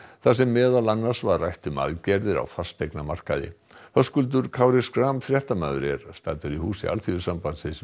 þar sem meðal annars var rætt um aðgerðir á fasteignamarkaði Höskuldur Kári Schram fréttamaður er staddur í húsi Alþýðusambandsins